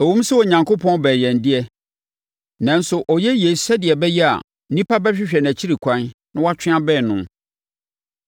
Ɛwom sɛ Onyankopɔn bɛn yɛn de, nanso ɔyɛ yei sɛdeɛ ɛbɛyɛ a nnipa bɛhwehwɛ nʼakyi kwan atwe abɛn no;